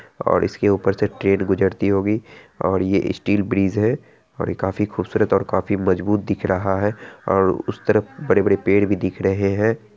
और इसके ऊपर से ट्रेन गुजरती होगी और ये स्टील ब्रीज है और ये काफी खूबसूरत और मजबूत दिख रहा है और उस तरफ बड़े बड़े पेड़ भी दिख रहे है।